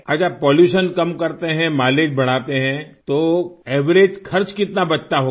अच्छा पॉल्यूशन कम करते हैं माइलेज बढ़ाते हैं तो एवरेज खर्च कितना बचता होगा